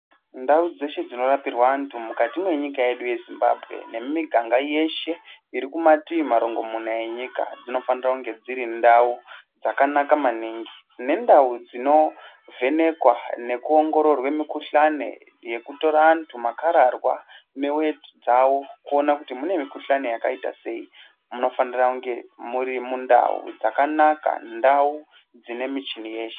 Ndau dzeshe dzinorapirwa vantu mukati mwenyika yedu yeZimbabwe nemimiganga yeshe iri kumativi marongo muna enyika , dzinofanira kunge dziri ndau dzakanaka maningi. Nendau dzinovhenekwa nekuongororwe mukushani yekutora andu makararwaa neweti dzavo kuona kuti mune mukushani yakaita sei , munofanira kunge muri mundau dzakanaka, ndau dzine michini yeshe.